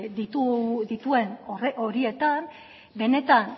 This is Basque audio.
dituen horietan benetan